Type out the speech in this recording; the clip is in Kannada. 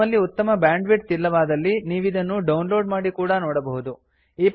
ನಿಮ್ಮಲ್ಲಿ ಉತ್ತಮ ಬ್ಯಾಂಡ್ವಿಡ್ಥ್ ಇಲ್ಲವಾದಲ್ಲಿ ನೀವಿದನ್ನು ಡೌನ್ಲೋಡ್ ಮಾಡಿ ಕೂಡಾ ನೋಡಬಹುದು